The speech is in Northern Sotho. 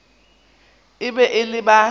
e be e le ba